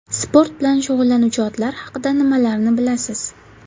Sport bilan shug‘ullanuvchi otlar haqida nimalarni bilasiz?